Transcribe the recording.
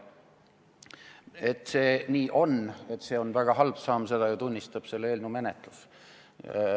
Et see nii on, et see on väga halb samm, seda tunnistab ju selle eelnõu menetlus.